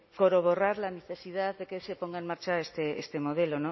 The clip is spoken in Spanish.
a corroborar la necesidad de que se ponga en marcha este modelo